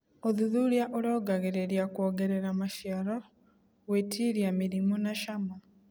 ũthuthuria ũrongoragĩrĩria kwongerera maciaro, gwĩtiria mĩrimũ na cama.